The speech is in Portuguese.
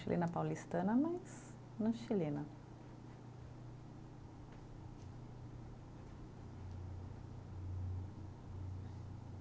Chilena paulistana, mas não chilena.